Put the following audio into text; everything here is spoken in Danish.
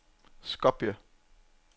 Skopje